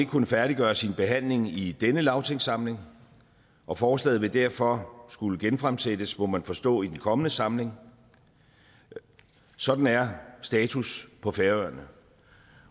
kunnet færdiggøre sin behandling i denne lagtingssamling og forslaget vil derfor skulle genfremsættes må man forstå i den kommende samling sådan er status på færøerne